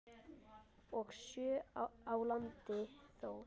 og sjö á landi þó.